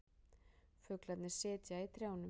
Fuglarnir sitja í trjánum.